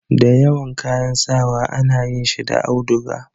da yawan kayan sawa a na yin shi da auduga